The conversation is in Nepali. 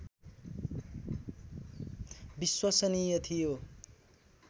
विश्वसनीय थियो